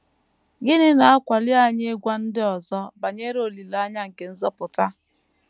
Gịnị na - akwali anyị ịgwa ndị ọzọ banyere olileanya nke nzọpụta?